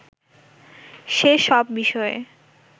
সে-সব বিষয়ে